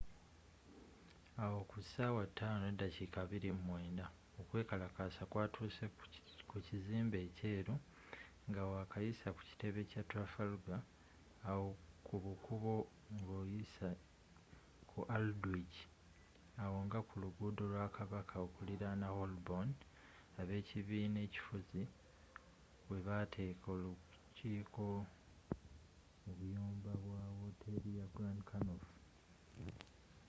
awo kusaawa 11:29 okwekalakaasa kwatuuse kukitebe kyekizimbe ekyeru ngawakayisa ku kitebe kya trafalgar awo kubukubo ngoyise ku aldwych awo nga ku luguudo lwa kabaka okuliraana holborn ab'ekibina ekifuzi webaateeka olukiiko mu biyumba bya wooteri ya grand connaught